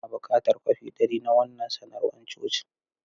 Ina buƙatan kwafi dari na wannan sanarwar cocin.